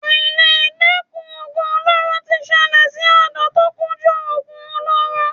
Àìledẹ́kun oògùn olóró ti ṣẹlẹ̀ sí ọ̀dọ́ tó kúndùn oògùn olóró.